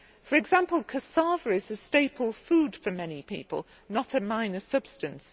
For example, cassava is a staple food for many people, not a minor substance.